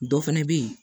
Dɔ fana bɛ yen